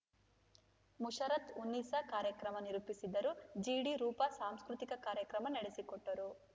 ಮುಷರತ್‌ ಉನ್ನಿಸಾ ಕಾರ್ಯಕ್ರಮ ನಿರೂಪಿಸಿದರು ಜಿಡಿ ರೂಪಾ ಸಾಂಸ್ಕೃತಿಕ ಕಾರ್ಯಕ್ರಮ ನಡೆಸಿಕೊಟ್ಟರು